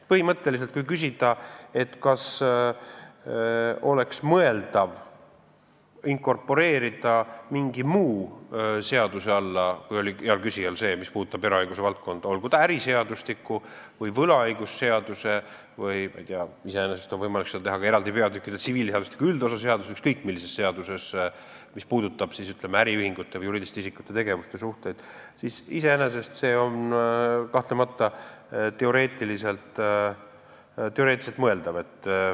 Põhimõtteliselt, kui küsida, kas oleks mõeldav inkorporeerida see mingi muu seaduse alla, mis puudutab eraõiguse valdkonda, olgu see äriseadustik, mida mainis hea küsija, või võlaõigusseadus või mõni muu, iseenesest on võimalik seda teha ka eraldi peatükkidega tsiviilseadustiku üldosa seaduses või ükskõik millises seaduses, mis puudutab, ütleme, äriühingute või juriidiliste isikute tegevust ja suhteid, siis see on kahtlemata teoreetiliselt mõeldav.